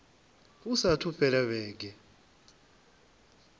hu saathu u fhela vhege